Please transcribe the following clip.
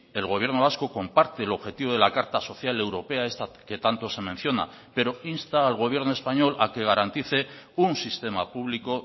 el gobierno vasco comparte el objetivo de la carta social europea que tanto se menciona pero insta al gobierno español a que garantice un sistema público